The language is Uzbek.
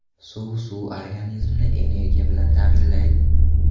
Suv Suv organizmni energiya bilan ta’minlaydi.